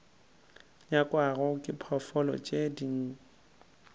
nyakwago ke diphoofolo tše di